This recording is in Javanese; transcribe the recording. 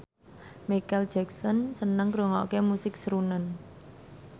Micheal Jackson seneng ngrungokne musik srunen